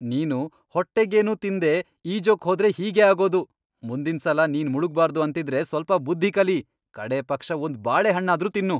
ನೀನು ಹೊಟ್ಟೆಗೇನೂ ತಿನ್ದೇ ಈಜೋಕ್ ಹೋದ್ರೆ ಹೀಗೇ ಆಗೋದು. ಮುಂದಿನ್ಸಲ ನೀನ್ ಮುಳುಗ್ಬಾರ್ದು ಅಂತಿದ್ರೆ ಸ್ವಲ್ಪ ಬುದ್ಧಿ ಕಲಿ, ಕಡೇ ಪಕ್ಷ ಒಂದ್ ಬಾಳೆಹಣ್ಣಾದ್ರೂ ತಿನ್ನು.